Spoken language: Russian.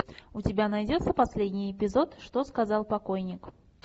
у тебя найдется последний эпизод что сказал покойник